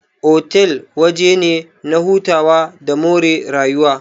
Otal waje ne na hutawa da more rayuwa.